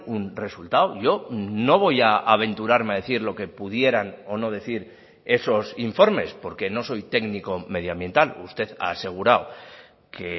un resultado yo no voy a aventurarme a decir lo que pudieran o no decir esos informes porque no soy técnico medioambiental usted ha asegurado que